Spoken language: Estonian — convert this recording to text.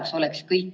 Austatud minister!